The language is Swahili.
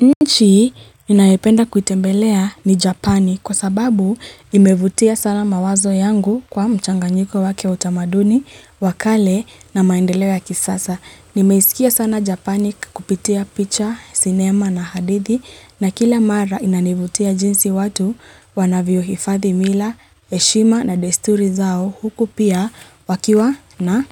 Nchi ninayependa kutembelea ni Japani kwa sababu imevutia sala mawazo yangu kwa mchanganyiko wake utamaduni, wakale na maendelewa kisasa. Nimeisikia sana Japani kupitia picha, sinema na hadithi na kile mara inanivutia jinsi watu wanavyo hifathi mila, eshima na desturi zao huku pia wakiwa na